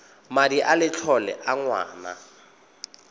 madi a letlole a ngwana